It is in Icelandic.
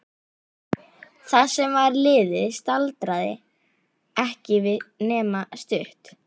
Það sem var liðið staldraði ekki við nema stutt.